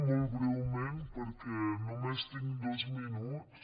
molt breument perquè només tinc dos minuts